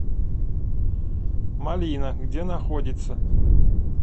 малина где находится